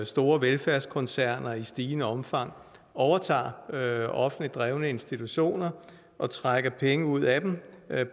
store velfærdskoncerner i stigende omfang overtager offentligt drevne institutioner og trækker penge ud af dem